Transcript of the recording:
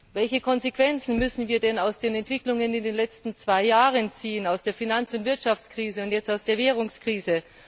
Welche Konsequenzen müssen wir denn aus den Entwicklungen in den letzten zwei Jahren ziehen, aus der Finanz und Wirtschaftskrise und jetzt aus der Währungskrise?